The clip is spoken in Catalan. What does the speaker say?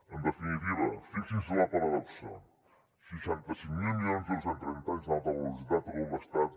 en definitiva fixin se en la paradoxa seixanta cinc mil milions d’euros en trenta anys en alta velocitat a tot l’estat